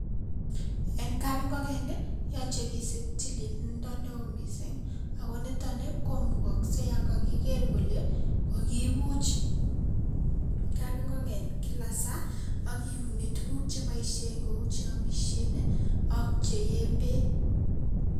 Eng kapingoken koyache kisuup tililindo neo mising ako nitokni komukaksei yon kakikeer kele kakipuch kapingoken kila saa akiuni tuguk chepoishen kou che amishen ak cheyeen beek.